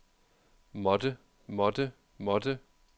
måtte måtte måtte